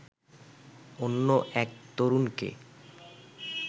অন্য এক তরুণকে